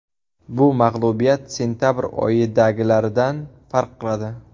Bu mag‘lubiyat sentabr oyidagilaridan farq qiladi.